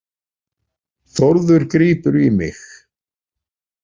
Þórður grípur í mig.